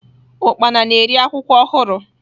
Ukpana na-eri akwụkwọ ọhụrụ.